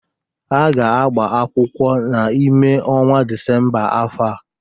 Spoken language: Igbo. Ha ga-agbakwụkwọ n'ime ọnwa Disemba afọ a.